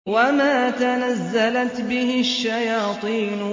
وَمَا تَنَزَّلَتْ بِهِ الشَّيَاطِينُ